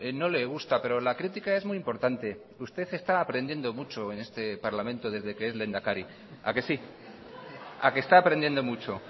no le gusta pero la crítica es muy importante usted está aprendiendo mucho en este parlamento desde que es lehendakari a que sí a que está aprendiendo mucho